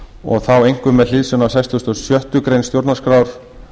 og þá einkum með hliðsjón af fertugasta og sjöttu grein stjórnarskrár